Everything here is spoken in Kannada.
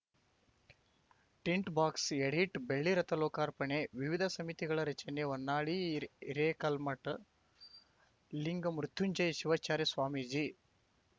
ಟಿಂಟ್‌ ಬಾಕ್ಸ್‌ ಎಡಿಟ್‌ ಬೆಳ್ಳಿರಥ ಲೋಕಾರ್ಪಣೆ ವಿವಿಧ ಸಮಿತಿಗಳ ರಚನೆ ಹೊನ್ನಾಳಿ ಹಿರೇಕಲ್ಮಠ ಲಿಂಗ ಮೃತ್ಯುಂಜಯ ಶಿವಾಚಾರ್ಯ ಸ್ವಾಮೀಜಿ